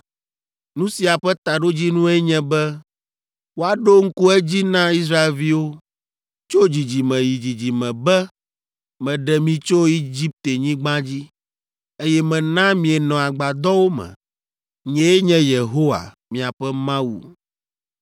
Nu sia ƒe taɖodzinue nye be woaɖo ŋku edzi na Israelviwo, tso dzidzime yi dzidzime be meɖe mi tso Egiptenyigba dzi, eye mena mienɔ agbadɔwo me. Nyee nye Yehowa, miaƒe Mawu.’ ”